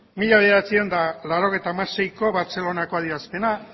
mila bederatziehun eta laurogeita hamaseiko bartzelonako adierazpena